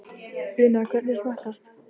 Una, hvernig smakkast?